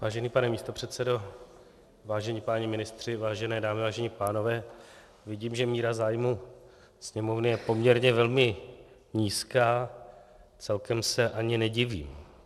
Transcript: Vážený pane místopředsedo, vážení páni ministři, vážené dámy, vážení pánové, vidím, že míra zájmu Sněmovny je poměrně velmi nízká, celkem se ani nedivím.